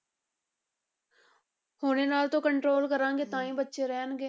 ਹੁਣੇ ਨਾਲ ਤੋ control ਕਰਾਂਗੇ ਤਾਂ ਹੀ ਬੱਚੇ ਰਹਿਣਗੇ।